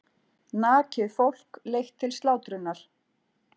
Nakið fólk leitt til slátrunar.